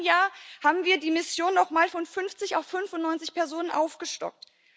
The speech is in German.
Im vergangenen Jahr haben wir die Mission noch mal von 50 auf 95 Personen aufgestockt.